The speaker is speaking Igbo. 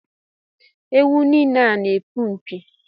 Ewu n'ile a n'epu mpi